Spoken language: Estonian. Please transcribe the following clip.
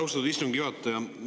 Austatud istungi juhataja!